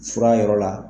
Fura yɔrɔ la